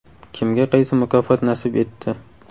Kimga qaysi mukofot nasib etdi?